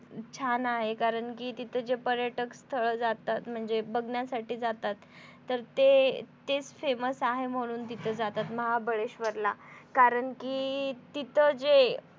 छान आहे. कारण कि तिथं जे पर्यटक स्थळ जातात म्हणजे बघण्यासाठी जातात तर ते तेच famous आहे म्हणून तिथं जातात. महाबळेशवर ला कारण कि तिथं जे